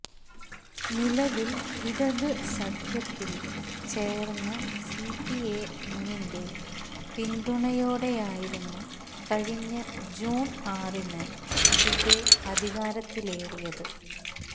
നിലവില് ഇടത് സഖ്യത്തില് ചേര്ന്ന സിപിഎന്നിന്റെ പിന്തുണയോടെയായിരുന്നു കഴിഞ്ഞ ജൂണ് ആറിന് ദുബെ അധികാരത്തിലേറിയത്